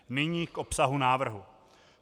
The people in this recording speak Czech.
Nyní k obsahu návrhu.